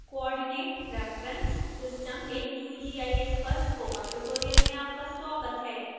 coordinate reference system in qgis पर spoken tutorial में आपका स्वागत है